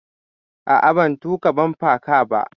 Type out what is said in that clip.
A'a, ban tuƙa bumper car ba.